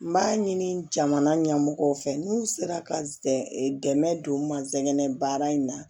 N b'a ɲini jamana ɲɛmɔgɔw fɛ n'u sera ka dɛmɛ don masinɛ baara in na